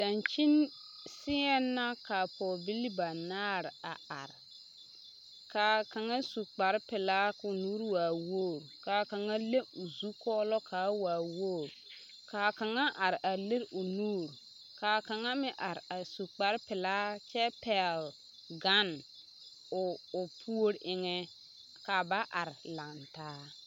Dankyini seɛŋ na ka pɔgebilii banaare a are k'a kaŋa su kpare pelaa k'o nuuri waa wogiri ka kaŋa le o zukɔɔlɔ kaa waa wogiri, k'a kaŋa are a lere o nuuri, k'a kaŋa meŋ are a su kpare pelaa kyɛ pɛgele gane o puori eŋɛ, ka ba are lantaa.